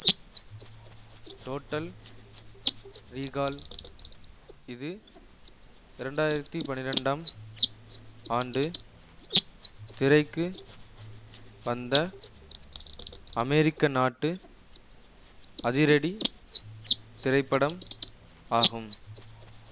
total recall இது இரண்டு ஆயிரத்தி பனிரெண்டாம் ஆண்டு திரைக்கு வந்த அமெரிக்க நாட்டு அதிரடி திரைப்படம் ஆகும்